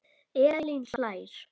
Elín hlær.